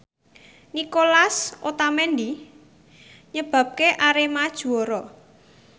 Nicolas Otamendi nyebabke Arema juara